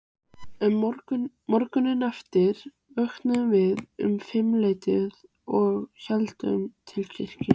Morguninn eftir vöknuðum við um fimmleytið og héldum til kirkju.